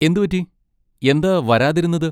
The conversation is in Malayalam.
എന്ത് പറ്റി, എന്താ വരാതിരുന്നത്?